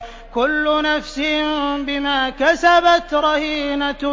كُلُّ نَفْسٍ بِمَا كَسَبَتْ رَهِينَةٌ